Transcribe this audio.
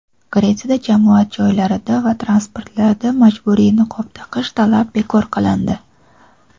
Gretsiyada jamoat joylarida va transportlarda majburiy niqob taqish talabi bekor qilindi.